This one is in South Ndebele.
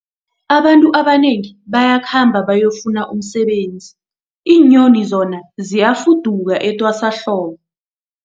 Abantu abanengi bayakhamba bayokufuna umsebenzi, iinyoni zona ziyafuduka etwasahlobo.